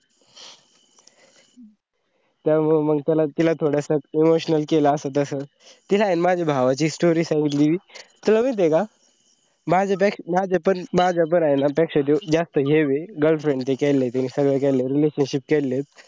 त मंग तिला थोडसं emotional केलं असं तसं. तिला आहे न माझ्या माझा भावाची एक story सांगितली माझ तर तुला माहिती का माझ्यापेक्षा माझ्या पण होईना पेक्षा तो जास्त हे आहे girlfriend हे केलेली त्यांनी सगळं केलेलया relationship केलेले